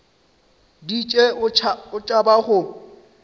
di tšee o tšhaba go